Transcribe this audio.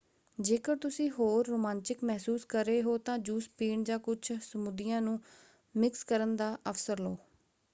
ਜੇਕਰ ਤੁਸੀਂ ਹੋਰ ਰੋਮਾਂਚਕ ਮਹਿਸੂਸ ਕਰ ਰਹੇ ਹੋ ਤਾਂ ਜੂਸ ਪੀਣ ਜਾਂ ਕੁੱਝ ਸਮੂਦੀਆਂ ਨੂੰ ਮਿਕਸ ਕਰਨ ਦਾ ਅਵਸਰ ਲਓ: